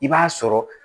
I b'a sɔrɔ